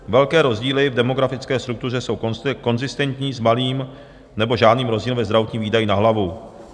Velké rozdíly v demografické struktuře jsou konzistentní s malým nebo žádným rozdílem ve zdravotních výdajích na hlavu.